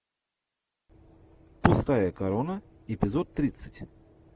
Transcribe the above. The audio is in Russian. пустая корона эпизод тридцать